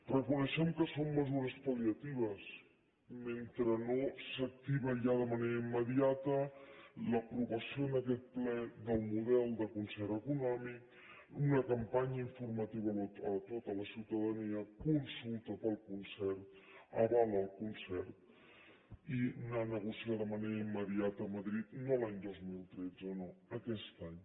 reconeixem que són mesures pal·liatives mentre no s’activa ja de manera immediata l’aprovació en aquest ple del model de concert econòmic una campanya informativa a tota la ciutadania consulta pel concert aval al concert i anar a negociar de manera immediata a madrid no l’any dos mil tretze no aquest any